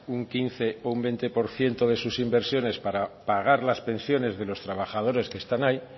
un quince o un veinte por ciento de sus inversiones para pagar las pensiones de los trabajadores que están ahí